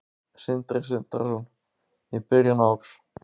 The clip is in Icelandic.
Sindri Sindrason: Í byrjun árs?